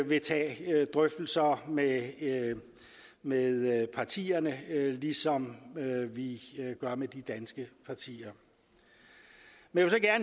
vil tage drøftelser med med partierne lige som vi gør med de danske partier men